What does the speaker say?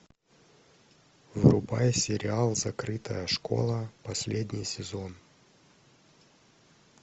врубай сериал закрытая школа последний сезон